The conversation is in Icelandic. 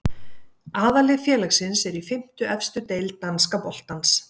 Aðallið félagsins er í fimmtu efstu deild danska boltans.